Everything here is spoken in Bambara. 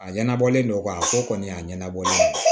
A ɲɛnabɔlen don ka ko kɔni y'a ɲɛnabɔlen don